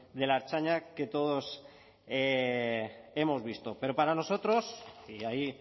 de la ertzaintza que todos hemos visto pero para nosotros y ahí